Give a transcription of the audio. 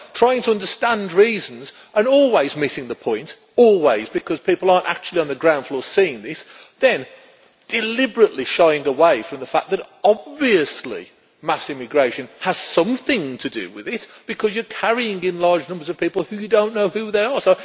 Trying to understand reasons and always missing the point always, because people are not actually on the ground floor seeing this and then deliberately shying away from the fact that obviously, mass immigration has something to do with it, because you are bringing in large numbers of people and you do not know who they are.